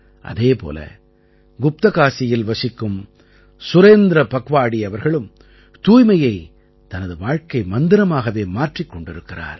அதே போல குப்தகாசியில் வசிக்கும் சுரேந்திர பக்வாடி அவர்களும் தூய்மையைத் தனது வாழ்க்கை மந்திரமாகவே மாற்றிக் கொண்டிருக்கிறார்